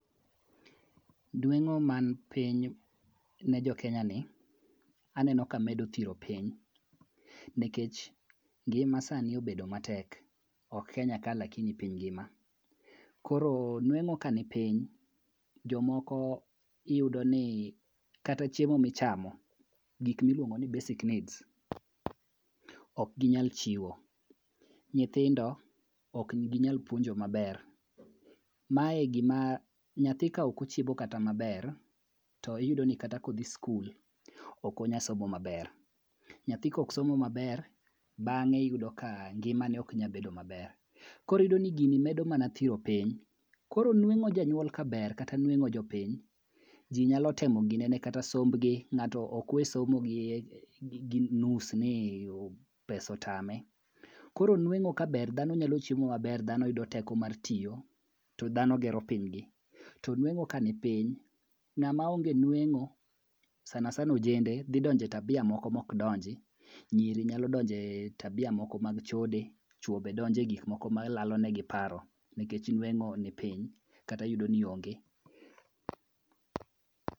Nueng'o man piny ne jokenyani aneno ka medo thiro piny nikech ngima sani obed matek ok Kenya ka lakini piny ngima. Koro nueng'o kani piny jomoko iyudo ni kata chiemo michamo gik miluongo ni basic needs okginyal chiwo, nyithindo okginyal puonjo maber, mae gima nyathi kaok ochiemo kata maber to iyudo ni kata kodhi skul okonya somo maber, nyathi koksomo maber bang'e iyudo ka ngimane oknya bedo maber, koro iyudo ni gini medo mana thiro piny koro nueng'o janyuol ka ber kata nueng'o jopiny, ji nyalo temo ginene kata sombgi, ng'ato okwe somo gi nus ni pesa otame. Koro nueng'o ka ber dhano nyalo chiemo maber dhano yudo teko mar tiyo to dhano gero pinygi, to nueng'o kanipiny, ng'ama onge nueng'o sanasana ojende dhi donjo e tabia moko mokdonji nyiri nyalo donje tabia moko mag chode, chwo be donje gikmoko malalonegi paro nikech nueng'o ni piny kata iyudo ni onge.